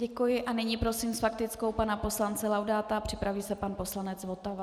Děkuji a nyní prosím s faktickou pana poslance Laudáta, připraví se pan poslanec Votava.